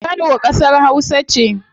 Kano kasar hausa ce